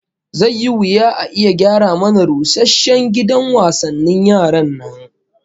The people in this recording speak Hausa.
Zai yi wuya a iya gyara mana rusasshen gidan wasannin yaran nan